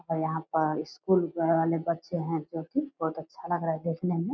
और यहाँ पर स्कूल वाले बच्चे हैं जो की बहुत अच्छा लग रहा है देखने में।